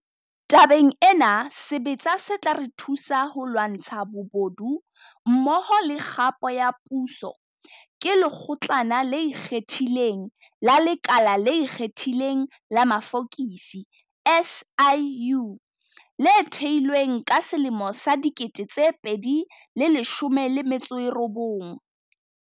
Tabeng ena, sebetsa se tla re thusa ho lwantsha bobodu mmoho le kgapo ya puso, ke Lekgotlana le Ikgethileng la Lekala le Ikgethileng la Mafokisi, SIU, le thehilweng ka 2019.